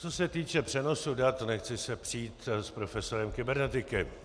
Co se týče přenosu dat, nechci se přít s profesorem kybernetiky.